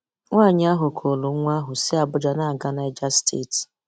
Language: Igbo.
“Nwáànyị ahụ kùrù nwá ahụ sị Abuja na-aga Níger Steeti.